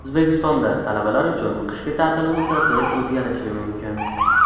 O‘zbekistonda talabalar uchun qishki ta’til muddati o‘zgarishi mumkin.